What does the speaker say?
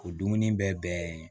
O dumuni bɛɛ ye